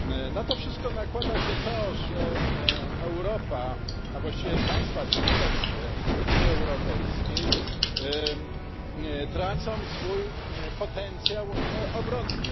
Na to wszystko nakłada się to, że Europa, a właściwie państwa członkowskie Unii Europejskiej, tracą swój potencjał obronny.